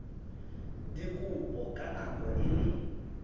dikopo ka nako e le